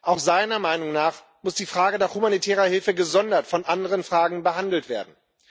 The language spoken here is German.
Auch seiner Meinung nach muss die Frage der humanitären Hilfe gesondert von anderen Fragen behandelt werden.